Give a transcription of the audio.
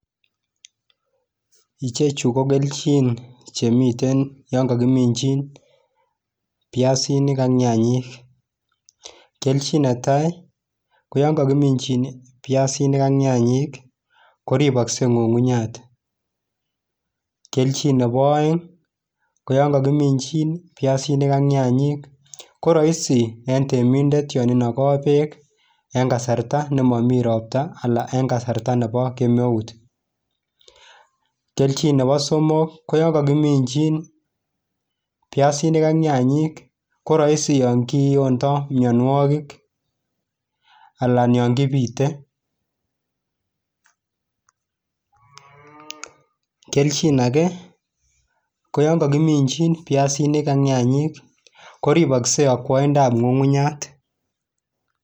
Kelchin ochon chemi ineminjin piaisinik ak nyanyik en koreng'wong'.?